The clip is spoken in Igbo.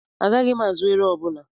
Agaghị m azụ ero ọbụla.